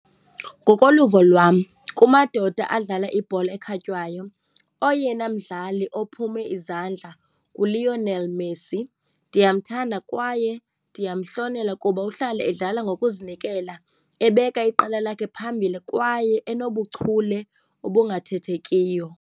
Ngokoluvo lwam kumadoda adlala ibhola ekhatywayo, oyena mdlali ophume izandla nguLionel Messi. Ndiyamthanda kwaye ndiyamhlonela kuba uhlale edlala ngokuzinikela, ebeka iqela lakhe phambili kwaye enobuchule obungathethekiyo.